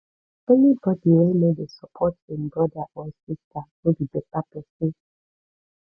any bodi wey no dey support im broda or sista no be beta pesin